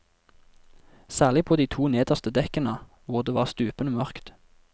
Særlig på de to nederste dekkene, hvor det var stupende mørkt.